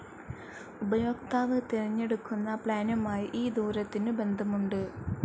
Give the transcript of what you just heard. ഉപയോക്താവ് തിരഞ്ഞെടുക്കുന്ന പ്ലാനുമായി ഈ ദൂരത്തിന് ബന്ധമുണ്ട്.